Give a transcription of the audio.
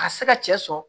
A ka se ka cɛ sɔrɔ